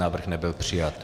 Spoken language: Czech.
Návrh nebyl přijat.